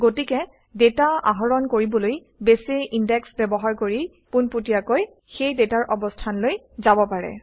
গতিকে ডাটা আহৰণ কৰিবলৈ বেছে ইনডেক্স ব্যৱহাৰ কৰি পোনপটীয়াকৈ সেই ডাটাৰ অৱস্থানলৈ যাব পাৰে